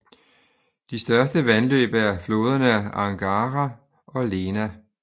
De største vandløb er floderne Angara og Lena